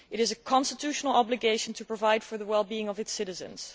It is a constitutional obligation to provide for the well being of its citizens.